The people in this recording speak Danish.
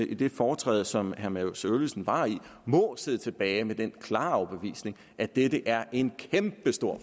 i det foretræde som herre mads øvlisen var i sidde tilbage med den klare overbevisning at dette er en kæmpestor